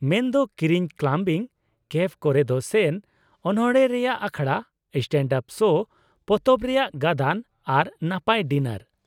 -ᱢᱮᱱᱫᱚ, ᱠᱤᱨᱤᱧ, clubbing, cafe ᱠᱚᱨᱮᱫ ᱥᱮᱱ, ᱚᱱᱚᱲᱦᱮᱸ ᱨᱮᱭᱟᱜ ᱟᱠᱷᱲᱟ, ᱥᱴᱮᱱᱰᱼᱟᱯ ᱥᱳ, ᱯᱚᱛᱚᱵ ᱨᱮᱭᱟᱜ ᱜᱟᱹᱫᱟᱹᱱ ᱟᱨ ᱱᱟᱯᱟᱭ ᱰᱤᱱᱟᱨ ᱾